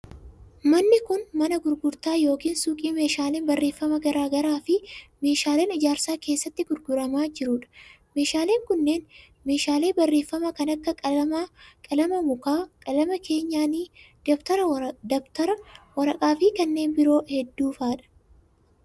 Manni kun, mana gurgurtaa yookin suuqii meeshaaleen barreeffamaa garaa garaa fi meeshaaleen ijaarsaa keessatti gurguramaa jiruu dha. Meeshaaleen kunneen meeshaalee barreeffamaa kan akka:qalama mukaa, qalama keenyaanii ,dabtara ,waraqaa fi kanneen biroo hedduu faa dha.